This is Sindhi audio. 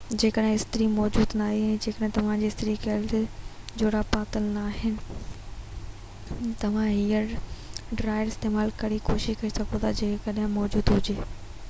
جيڪڏهن استري موجود ناهي يا جيڪڏهن توهان کي استري ڪيل جوراب پاتل ناهن ته پوءِ توهان هيئر ڊرائير استعمال ڪرڻ جي ڪوشش ڪري سگهو ٿا جيڪڏهن موجود هجي